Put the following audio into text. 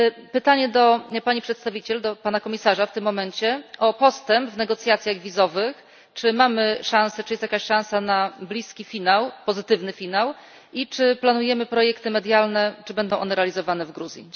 Pytanie do pani przedstawiciel, do pana komisarza w tym momencie, o postęp w negocjacjach wizowych czy mamy szansę, czy jest jakaś szansa na bliski finał, pozytywny finał, i czy planujemy projekty medialne, czy będą one realizowane w Gruzji?